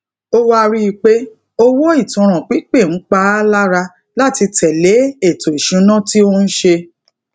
ó wá rí i pé owó itanran pipe n pa a lara lati tele eto isuna ti o n se